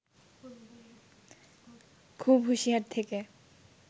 খুব হুঁশিয়ার থেকে